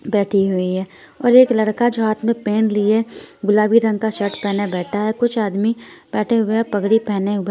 बैठी हुई है और एक लड़का जो हाथ में पेन लिए गुलाबी रंग का शर्ट पहने हुए बैठा है कुछ आदमी बैठे हुए पगड़ी पहने हुए--